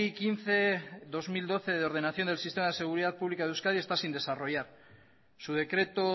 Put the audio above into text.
quince barra dos mil doce de ordenación del sistema de seguridad pública de euskadi está sin desarrollar su decreto